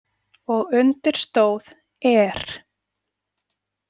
Og undir stóð ER.